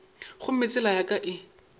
gomme tsela ya ka e